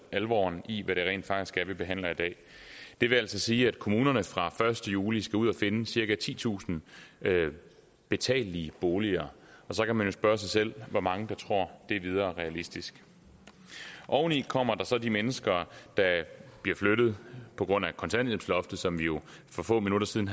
alvoren i hvad det rent faktisk er vi behandler i dag det vil altså sige at kommunerne fra første juli skal ud og finde cirka titusind betalelige boliger så kan man jo spørge sig selv hvor mange der tror det er videre realistisk oveni kommer der så de mennesker der bliver flyttet på grund af kontanthjælpsloftet som vi jo for få minutter siden